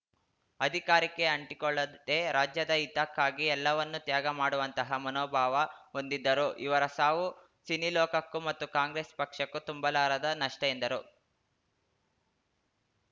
ಅಧಿಕಾರಕ್ಕೆ ಅಂಟಿಕೊಳ್ಳದೆ ರಾಜ್ಯದ ಹಿತಕ್ಕಾಗಿ ಎಲ್ಲವನ್ನೂ ತ್ಯಾಗ ಮಾಡುವಂತಹ ಮನೋಭಾವ ಹೊಂದಿದ್ದರು ಇವರ ಸಾವು ಸಿನಿಲೋಕಕ್ಕೂ ಮತ್ತು ಕಾಂಗ್ರೆಸ್‌ ಪಕ್ಷಕ್ಕೂ ತುಂಬಲಾರದ ನಷ್ಟಎಂದರು